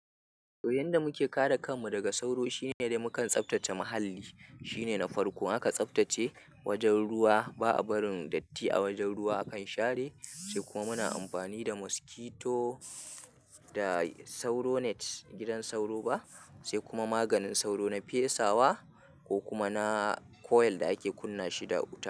Yanda muke kare kanmu daga sauro shine dai mukan tsaftace muhalli. Shine na farko in aka tsaftace wajen ruwa. Ba a barin datti a wajen ruwa akan share sai kuma muna amfani da mosquito da sauro net gidan sauro ba sai kuma maganin sauro na fesawa ko kuma na koyel da ake kunna shi da wuta.